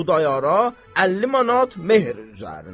Xudayora 50 manat mehr üzərinə.